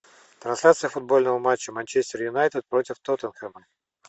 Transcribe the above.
трансляция футбольного матча манчестер юнайтед против тоттенхэма